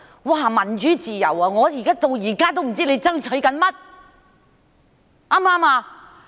提到民主自由，我現在仍不知道他們在爭取甚麼。